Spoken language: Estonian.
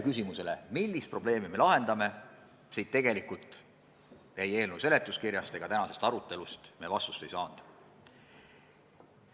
Küsimusele, millist probleemi me ikkagi lahendame, me tegelikult ei eelnõu seletuskirjast ega tänasest arutelust vastust ei saanud.